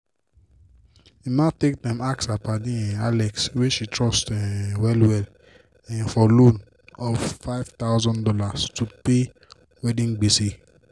emma take time ask her padi um alex wey she trust um well well um for loan of five thousand dollars to pay wedding gbese.